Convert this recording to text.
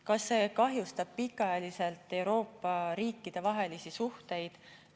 Kas see kahjustab pikaajaliselt Euroopa riikide vahelisi suhteid?